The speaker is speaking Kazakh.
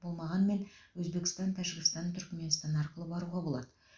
болмағанмен өзбекстан тәжікстан түркіменстан арқылы баруға болады